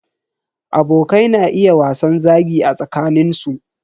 Abokai na iya wasan zagi a tsakanin su.